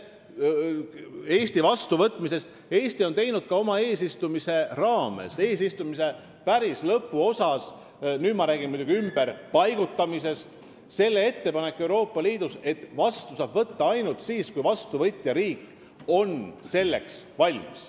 Vastuvõtmisest veel nii palju, et me tegime oma eesistumisaja päris lõpuosas Euroopa Liidus ka sellise ettepaneku, et inimesi on võimalik vastu võtta ainult siis, kui vastuvõtja riik on selleks valmis.